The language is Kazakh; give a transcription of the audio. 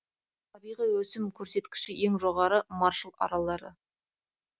табиғи өсім көрсеткіші ең жоғары маршалл аралдары